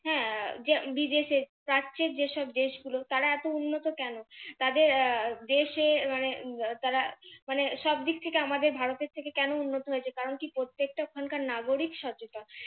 বিদেশে দেশগুলো তারা এত উন্নত কেনো তাদের আহ দেশে মানে তারা মানে সবদিক থেকে তারা ভারত থেকে উন্নত হয়েছে কেনো কারন কি তাদের প্রত্যেকটা নাগরিক সচেতন